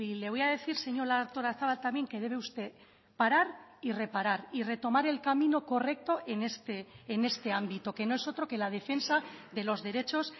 le voy a decir señora artolazabal también que debe usted parar y reparar y retomar el camino correcto en este ámbito que no es otro que la defensa de los derechos